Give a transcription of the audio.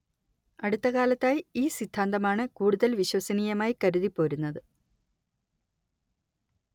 അടുത്ത കാലത്തായി ഈ സിദ്ധാന്തമാണ് കൂടുതൽ വിശ്വസനീയമായി കരുതിപ്പോരുന്നത്‌